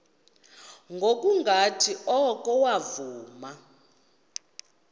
ngokungathi oko wavuma